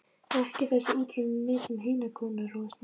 Ekki þessi úttroðnu net sem hinar konurnar rogast með.